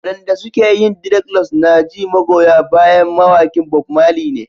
Waɗanda suke yin dreadlocks na ji magoya bayan mawaƙin Bob Marley ne.